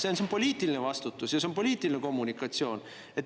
See on poliitiline vastutus ja see on poliitiline kommunikatsioon.